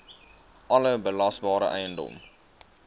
alle belasbare eiendom